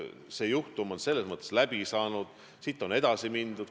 See juhtum on läbi, sellest on edasi mindud.